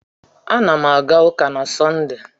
Ana m aga ụka na Sọnde.